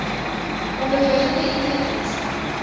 onderliggende it diens